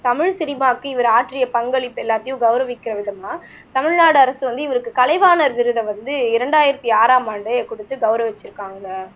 தமிழ் சினிமாவுக்கு இவர் ஆற்றிய பங்களிப்பு எல்லாத்தையும் கௌரவிக்கிற விதமா தமிழ்நாடு அரசு வந்து இவருக்கு கலைவாணர் விருதை வந்து இரண்டாயிரத்தி ஆறாம் ஆண்டே கொடுத்து கௌரவிச்சிருக்காங்க